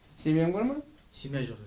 семьяң бар ма семья жоқ